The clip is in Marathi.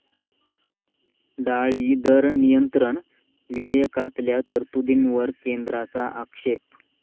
डाळी दर नियंत्रण' विधेयकातल्या तरतुदींवर केंद्राचा आक्षेप